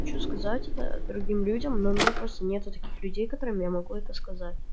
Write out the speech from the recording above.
хочу сказать это другим людям но у меня просто нету таких людей которым я могу это сказать